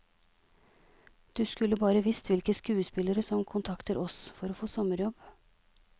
Du skulle bare visst hvilke skuespillere som kontakter oss for å få sommerjobb.